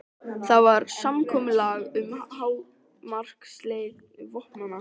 Það var samkomulag um hámarkslengd vopnanna.